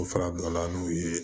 O farabɔla n'u ye